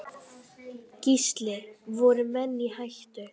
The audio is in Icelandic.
Gísli: Voru menn í hættu?